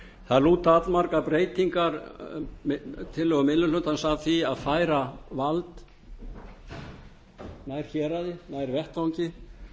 það lúta allmargar breytingar tillögu minni hlutans að því að færa vald nær héraði nær vettvangi